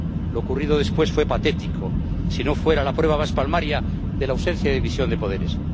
Lo ocurrido después fue patético si no fuera la prueba más palmaria de la ausencia de división de poderes.